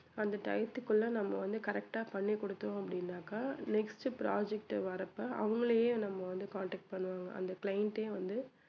அந்த டயத்துக்குள்ள நம்ம வந்து correct ஆ பண்ணி கொடுத்தோம் அப்படின்னாக்கா next project வர்றப்ப அவங்களையே நம்ம வந்து contact பண்ணுவாங்க அந்த client ஏ வந்து